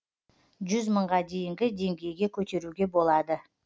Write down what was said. жүз мыңға дейінгі деңгейге көтеруге болады